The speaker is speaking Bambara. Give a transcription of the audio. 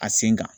A sen kan